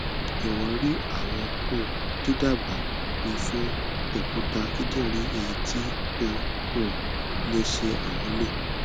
jọwọ ri awọn um didaba mi fun okuta kidinrin eyiti o um le ṣe amulo